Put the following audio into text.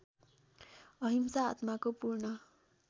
अहिंसा आत्माको पूर्ण